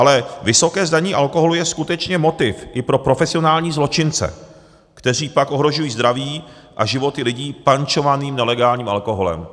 Ale vysoké zdanění alkoholu je skutečně motiv i pro profesionální zločince, kteří pak ohrožují zdraví a životy lidí pančovaným nelegálním alkoholem.